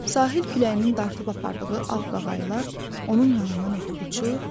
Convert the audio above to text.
Sahil küləyinin dartıb apardığı ağ qaqayılar onun yanından ötüb uçur.